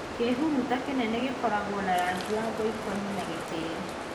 kĩhuruta kĩnene gĩkoragwo na rangi wa ngoikoni na gĩtĩri